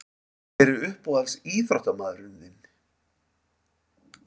Hver er uppáhalds ÍÞRÓTTAMAÐURINN þinn?